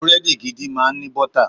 Búrẹ́dì gidi máa ń ní bọ́tà.